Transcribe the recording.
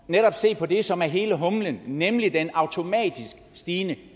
se på det som er hele humlen nemlig den automatisk stigende